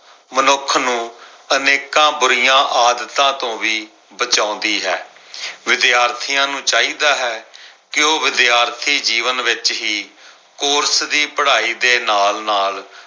ਮਨੁੱਖ ਨੂੰ ਅਨੇਕਾਂ ਬੁਰੀਆਂ ਆਦਤਾਂ ਤੋਂ ਵੀ ਬਚਾਉਂਦੀ ਹੈ। ਵਿਦਿਆਰਥੀਆਂ ਨੂੰ ਚਾਹੀਦਾ ਹੈ ਕੇ ਉਹ ਵਿਦਿਆਰਥੀ ਜੀਵਨ ਵਿੱਚ ਕੋਰਸ ਦੀ ਪੜ੍ਹਾਈ ਦੇ ਨਾਲ-ਨਾਲ